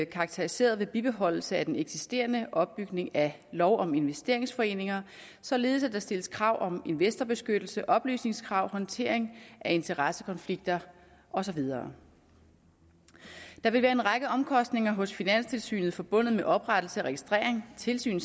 karakteriseret ved bibeholdelse af den eksisterende opbygning af lov om investeringsforeninger således at der stilles krav om investorbeskyttelse oplysningskrav håndtering af interessekonflikter og så videre der vil være en række omkostninger hos finanstilsynet forbundet med oprettelse registrering tilsyn